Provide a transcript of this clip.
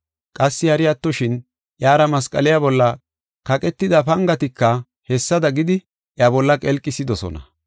Qassi hari attoshin, iyara masqaliya bolla kaqetida pangatika hessada gidi iya bolla qelqisidosona.